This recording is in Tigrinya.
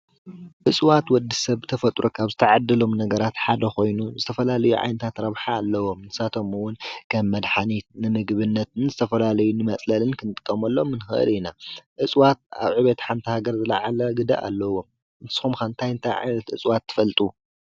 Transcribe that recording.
እፀዋት ወዲ ሰብ ብተፈጥሮ ካብ ዝተዓደሎም ነገራት ሓደ ኾይኑ ዝተፈላለዩ ዓይነታት ረብሓ ኣለዎም፡፡ ንሳቶም ውን ከም መድሓኒት ንምግብነት ንዝተፈላለዩ ንመፅለልን ክንጥቀምሎም ንክእል ኢና፡፡ እፀዋት ኣብ ዕብየት ሓንቲ ሃገር ዝለዓለ ግደ ኣለዎም፡፡ ንስኹም ከ አንታይ አንታይ ዓይነት እፀዋት ትፈልጡ?